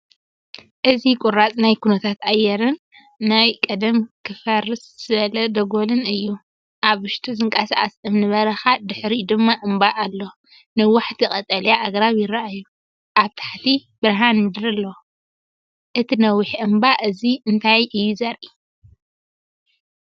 እዚ ቁራጽ ናይ ኩነታት ኣየርን ናይ ቀደም ክፈርስ ዝበለ ደጎልን እዩ። ኣብ ውሽጡ ዝንቀሳቐስ እምኒ በረኻ ድሕሪኡ ድማ እምባ ኣሎ። ነዋሕቲ ቀጠልያ ኣግራብ ይረኣዩ። ኣብ ታሕቲ ብርሃን ምድሪ ኣሎ። እቲ ነዊሕ እምባ እዚ እንታይ እዩ ዘርኢ?